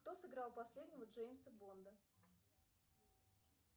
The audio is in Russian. кто сыграл последнего джеймса бонда